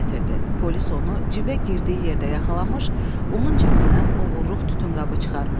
Polis onu cibə girdiyi yerdə yaxalamış, onun cibindən oğurluq tütünqabı çıxarmışdı.